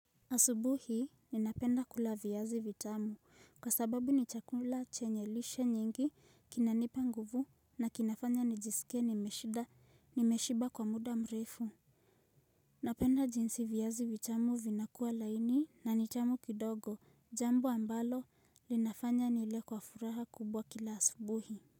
Asubuhi ninapenda kula viazi vitamu kwa sababu nichakula chenye lishe nyingi kinanipa nguvu na kinafanya nijisike nimeshida nimeshiba kwa muda mreifu Napenda jinsi viazi vitamu vinakuwa laini na nichamu kidogo jambo ambalo linafanya nile kwa furaha kubwa kila asubuhi.